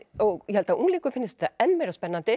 og ég held að unglingum finnist þetta enn meira spennandi